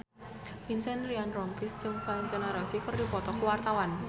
Vincent Ryan Rompies jeung Valentino Rossi keur dipoto ku wartawan